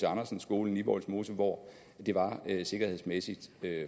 andersen skolen i vollsmose hvor det var sikkerhedsmæssigt